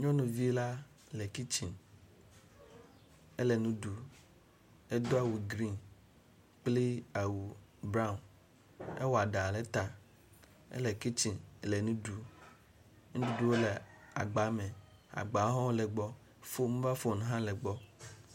Nyɔnuvi la le kitsiŋ, ele nu ɖum, edo awu griŋ kple awu braŋ, ewɔ eɖa ɖe ta, ele kitsiŋ le nu ɖum. Nuɖuɖu le agba me. Agbawo ho le egbɔ. Mobal fon hã le gbɔ.